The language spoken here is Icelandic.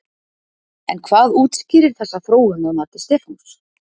En hvað útskýrir þessa þróun að mati Stefáns?